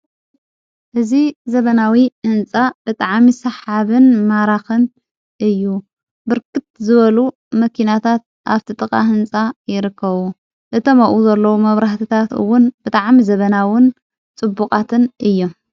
እዝ ዘበናዊ ህንፃ ብጥዓሚ ሳሓብን ማራኽን እዩ ብርክት ዘበሉ መኪናታት ኣብ ቲ ጥቓ ሕንፃ የርከዉ እቶም ኣኡኡ ዘለዉ መብራህትታትውን ብጥዓሚ ዘበናውን ጽቡቓትን እዩ፡፡